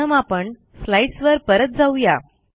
प्रथम आपण स्लाईडसवर परत जाऊ या